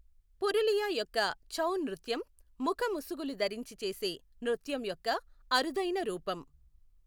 పురులియా యొక్క ఛౌ నృత్యం ముఖ ముసుగులు ధరించి చేసే నృత్యం యొక్క అరుదైన రూపం.